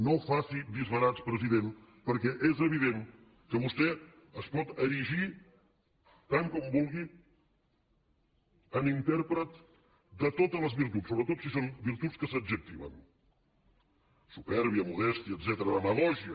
no faci disbarats president perquè és evident que vostè es pot erigir tant com vulgui en intèrpret de totes les virtuts sobretot si són virtuts que s’adjectiven supèrbia modèstia etcètera demagògia